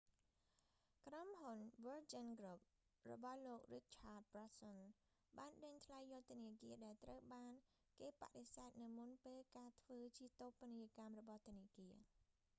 ក្រុមហ៊ុន វើរជីន គ្រុប virgin group របស់លោក រីកឆាត ប្រានសុន richard branson បានដេញថ្លៃយកធនាគារដែលត្រូវបានគេបដិសេធនៅមុនពេលការធ្វើជាតូបនីយកម្មរបស់ធនាគារ